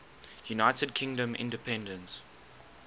united kingdom independence